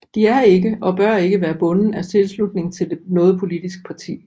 De er ikke og bør ikke være bunden af tilslutning til noget politisk parti